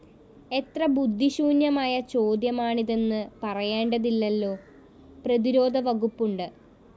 എത്ര ബുദ്ധിശൂന്യമായ ചോദ്യമാണിതെന്ന് പറയേണ്ടതില്ലല്ലോ! പ്രതിരോധവകുപ്പുണ്ട്